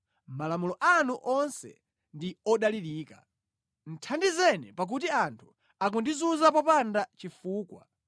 Malamulo anu onse ndi odalirika; thandizeni, pakuti anthu akundizunza popanda chifukwa.